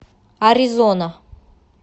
аризона